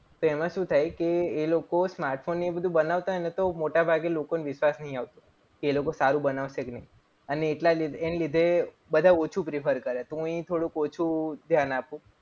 તેમાં શું થાય કે એ લોકો smartphone ને એ બધું બનાવતા હોય. તો મોટાભાગે લોકો ને વિશ્વાસ નથી આવતો. એ લોકો સારું બનાવશે કે નહીં. અને એના લીધે બધા ઓછું prefer કરે તો હું પણ થોડુંક ઓછું ધ્યાન આપો.